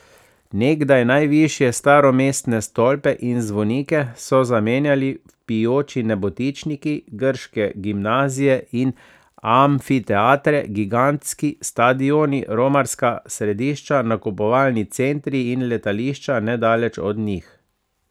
Nekdaj najvišje staromestne stolpe in zvonike so zamenjali vpijoči nebotičniki, grške gimnazije in amfiteatre gigantski stadioni, romarska središča nakupovalni centri in letališča nedaleč od njih.